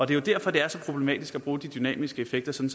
det er derfor det er så problematisk at bruge de dynamiske effekter som